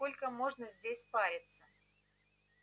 сколько можно здесь париться